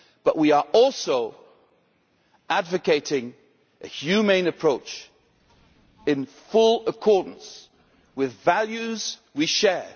But we are also advocating a humane approach in full accordance with values we share.